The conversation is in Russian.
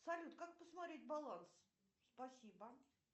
салют как посмотреть баланс спасибо